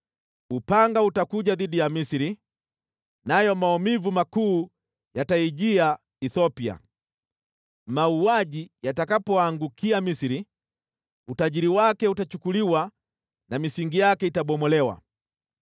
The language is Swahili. Upanga utakuja dhidi ya Misri, nayo maumivu makuu yataijia Ethiopia. Mauaji yatakapoangukia Misri, utajiri wake utachukuliwa na misingi yake itabomolewa.